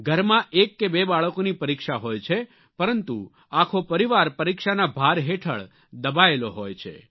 ઘરમાં એક કે બે બાળકોની પરીક્ષા હોય છે પરંતુ આખો પરિવાર પરીક્ષાના ભાર હેઠળ દબાયેલો હોય છે